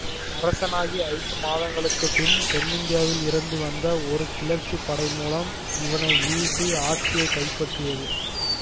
அரசனாகி ஐந்து மாதங்களுக்கு பின் தென்னிந்தியாவில் இருந்து வந்த ஒரு கிளர்ச்சிப் படை மூலம் இவனை வீழ்த்தி ஆட்சியை கைப்பற்றியது